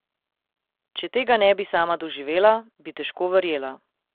Če tega ne bi sama doživela, bi težko verjela.